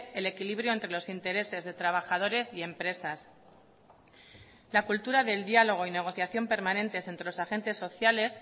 el equilibrio entre los intereses de trabajadores y empresas la cultura del diálogo y negociación permanentes entre los agentes sociales